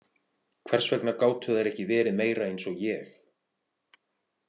Hvers vegna gátu þær ekki verið meira eins og ég?